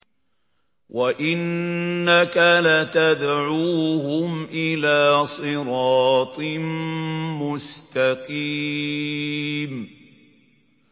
وَإِنَّكَ لَتَدْعُوهُمْ إِلَىٰ صِرَاطٍ مُّسْتَقِيمٍ